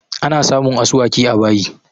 Ana samun asuwaki a bayi